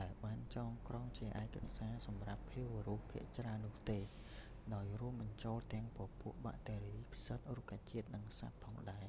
ដែលបានចងក្រងជាឯកសារសម្រាប់ភាវៈរស់ភាគច្រើននោះទេ ដោយរួមបញ្ចូលទាំងពពួកបាក់តេរី ផ្សិត រុក្ខជាតិ និងសត្វផងដែរ